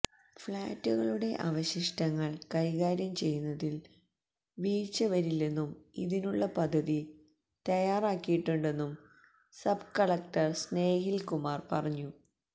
ഫ്ലാറ്റുകളുടെ അവശിഷ്ടങ്ങള് കൈകാര്യം ചെയ്യുന്നതില് വീഴ്ച വരില്ലെന്നും ഇതിനുളള പദ്ധതി തയ്യാറാക്കിയിട്ടുണ്ടെന്നും സബ് കലക്ടര് സ്നേഹില് കുമാര് പറഞ്ഞു